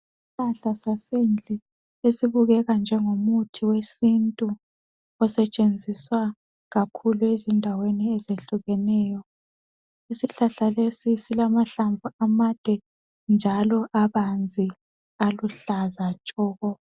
Isihlahla sasendlini esibukeka njengomuthi wesintu osetshenziswa kakhulu endaweni ezihlukeneyo. isihlahla leso silamahlamvu amade njalo abanzi, aluhlaza tshoko.